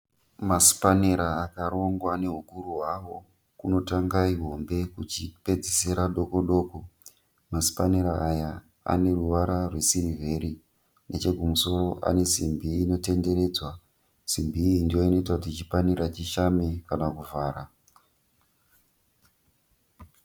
Masipanera akarongwa nehukuru hwawo. Kunotanga ihombe kuchipedzisira nedoko doko. Masipanera aya ane ruvara rwesirivheri. Nechekumusoro ane simbi inotenderedzwa. Simbi iyi ndiyo inoita kuti chipanera chishame kana kuvhara.